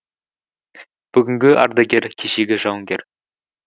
бүгінгі ардагер кешегі жауынгер